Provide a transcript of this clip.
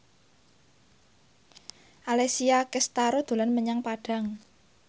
Alessia Cestaro dolan menyang Padang